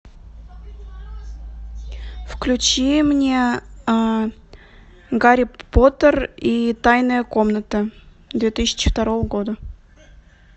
включи мне гарри поттер и тайная комната две тысячи второго года